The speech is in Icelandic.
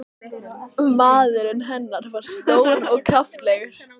Maðurinn hennar var stór og kraftalegur.